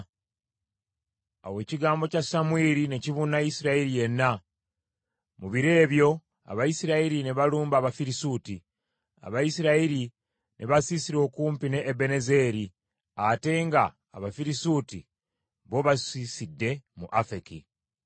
Awo ekigambo kya Samwiri ne kibuna Isirayiri yenna. Mu biro ebyo Abayisirayiri ne balumba Abafirisuuti, Abayisirayiri ne basiisira okumpi ne Ebenezeri, ate nga Abafirisuuti bo basiisidde mu Afeki.